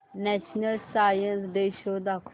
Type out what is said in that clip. national science day show कर